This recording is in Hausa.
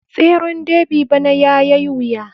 Tseren derby bana yayai wuya.